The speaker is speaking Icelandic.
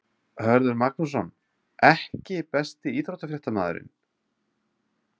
Hörður Magnússon EKKI besti íþróttafréttamaðurinn?